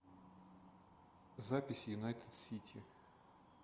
запись юнайтед сити